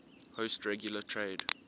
host regular trade